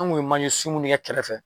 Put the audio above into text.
An kun ye manje sunw ne kɛ kɛrɛfɛ